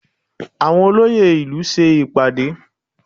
Àwọn olóyè ìlú ṣe ìpàdé